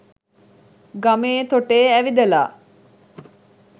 ගමේ තොටේ ඇවිදලා